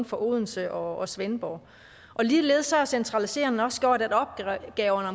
fra odense og svendborg ligeledes har centraliseringen også gjort at opgaverne